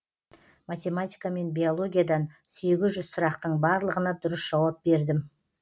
математика мен биологиядан сұрақтың барлығына дұрыс жауап бердім